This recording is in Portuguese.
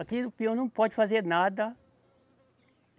Aqui o pior, não pode fazer nada.